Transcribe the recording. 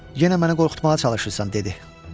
Yenə mənə qorxutmağa çalışırsan, dedi.